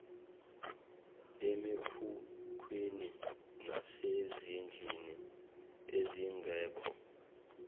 emikhukhwini nasezindlini ezingekho